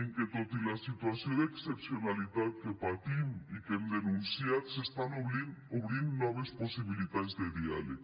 en què tot i la situació d’excepcionalitat que patim i que hem denunciat s’estan obrint noves possibilitats de diàleg